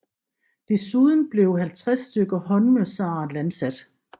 Desuden blev 50 stykker håndmørsare landsat